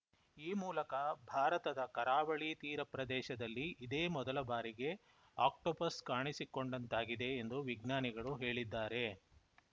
ಈ ಮೂಲಕ ಭಾರತದ ಕರಾವಳಿ ತೀರ ಪ್ರದೇಶದಲ್ಲಿ ಇದೇ ಮೊದಲ ಬಾರಿಗೆ ಆಕ್ಟೋಪಸ್‌ ಕಾಣಿಸಿಕೊಂಡಂತಾಗಿದೆ ಎಂದು ವಿಜ್ಞಾನಿಗಳು ಹೇಳಿದ್ದಾರೆ